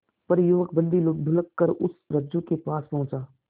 पर युवक बंदी ढुलककर उस रज्जु के पास पहुंचा